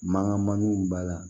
Mankan mankanw b'a la